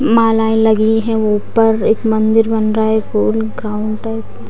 मालाएं लगी हुई है ऊपर एक मंदिर बन रहा है कोई काउंटर --